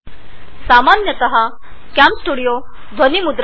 सामान्यत कॅमस्टुडिओ आवाज रेकॉर्ड करत नाही